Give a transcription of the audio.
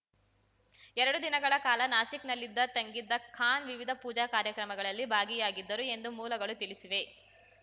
ಎರಡು ದಿನಗಳ ಕಾಲ ನಾಸಿಕ್‌ನಲ್ಲಿದ್ದ ತಂಗಿದ್ದ ಖಾನ್‌ ವಿವಿಧ ಪೂಜಾ ಕಾರ್ಯಕ್ರಮಗಳಲ್ಲಿ ಭಾಗಿಯಾಗಿದ್ದರು ಎಂದು ಮೂಲಗಳು ತಿಳಿಸಿವೆ